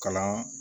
Kalan